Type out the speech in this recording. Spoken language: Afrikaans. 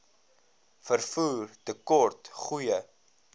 vervoer tekort goeie